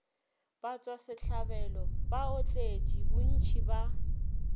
batšwasehlabelo ba baotledi bontši ba